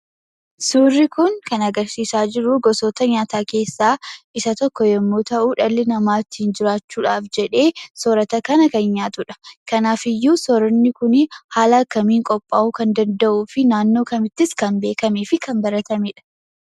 Suurri kun kan agarsiisaa jiru gosoota nyaata keessa isa tokko yoo ta'u, dhalli nama ittin jiraachuudhaf jedhee soorata kana kan nyaatudha. kanaafuu sooranni kun haala kamiin qopha'uu kan danda'uu fi naannoo kamittis kan beekamee fi kan baratamedha?